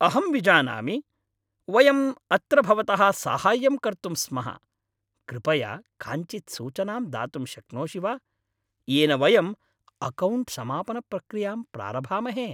अहं विजानामि, वयं अत्र भवतः साहाय्यं कर्तुं स्मः, कृपया काञ्चित् सूचनां दातुं शक्नोषि वा येन वयं अकौण्ट् समापनप्रक्रियां प्रारभामहे।